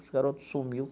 Esse garoto sumiu.